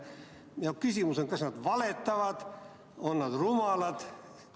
Minu küsimus on: kas nad valetavad, on nad rumalad?